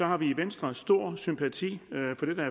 har vi i venstre stor sympati